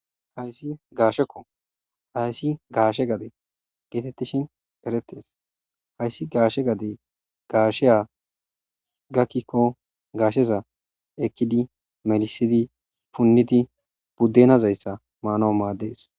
Hayssi gaashekko hayssi gaashe gade geetettishin erettees hayssi gaashe gade gaasheya gakkikko gaasheza ekkidi melisidi punnidi buddenazayssa maano maaddees.